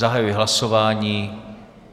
Zahajuji hlasování.